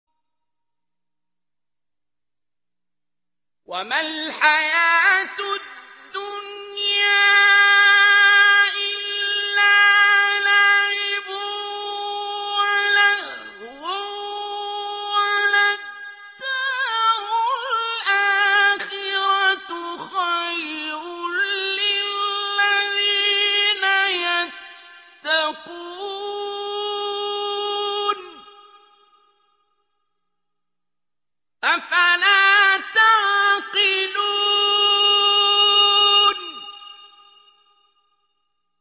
وَمَا الْحَيَاةُ الدُّنْيَا إِلَّا لَعِبٌ وَلَهْوٌ ۖ وَلَلدَّارُ الْآخِرَةُ خَيْرٌ لِّلَّذِينَ يَتَّقُونَ ۗ أَفَلَا تَعْقِلُونَ